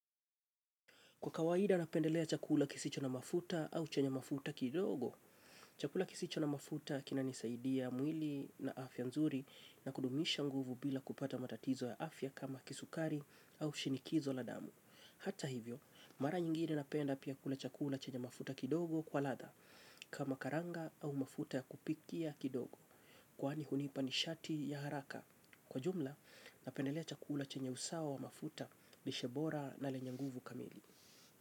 Kwa kawaida napendelea chakula kisicho na mafuta au chenye mafuta kidogo. Chakula kisicho na mafuta kinanisaidia mwili na afya nzuri na kudumisha nguvu bila kupata matatizo ya afya kama kisukari au shinikizo la damu. Hata hivyo, mara nyingine napenda pia kule chakula chenye mafuta kidogo kwa latha kama karanga au mafuta ya kupikia kidogo. Kwaani hunipa nishati ya haraka. Kwa jumla, napendelea chakula chenye usawa wa mafuta, lishebora na lenye nguvu kamili.